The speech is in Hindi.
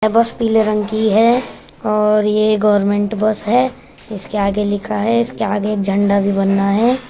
बस पीले रंग की है और ये गवर्नमेंट बस है। इसके आगे लिखा है। इसके आगे एक झंडा भी बना है।